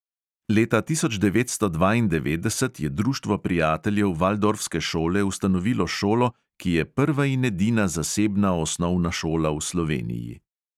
Leta tisoč devetsto dvaindevetdeset je društvo prijateljev valdorfske šole ustanovilo šolo, ki je prva in edina zasebna osnovna šola v sloveniji.